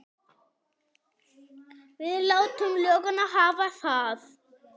Við látum lögguna hafa það.